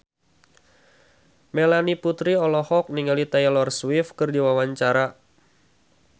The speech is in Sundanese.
Melanie Putri olohok ningali Taylor Swift keur diwawancara